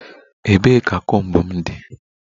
Ebee ka comb m dị?